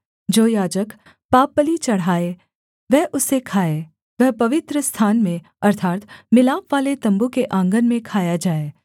जो याजक पापबलि चढ़ाए वह उसे खाए वह पवित्रस्थान में अर्थात् मिलापवाले तम्बू के आँगन में खाया जाए